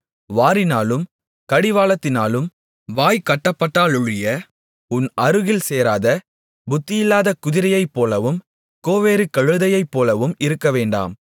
வாரினாலும் கடிவாளத்தினாலும் வாய் கட்டப்பட்டாலொழிய உன் அருகில் சேராத புத்தியில்லாத குதிரையைப்போலவும் கோவேறு கழுதையைப்போலவும் இருக்கவேண்டாம்